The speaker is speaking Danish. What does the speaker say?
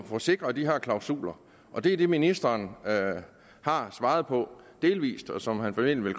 få sikret de her klausuler og det er det ministeren har svaret på delvis og som han formentlig